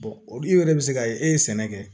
o dun yɛrɛ bɛ se ka ye e ye sɛnɛ kɛ